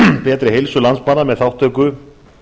betri heilsu landsmanna með þátttöku